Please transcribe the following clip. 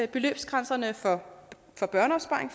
beløbsgrænserne for